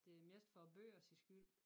Det er mest for æ bøgers skyld